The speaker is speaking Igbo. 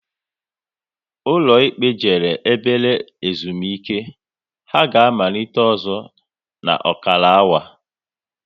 Ụlọ ikpe jere ebere ezumike, ha ga amalite ọzọ n'okara awa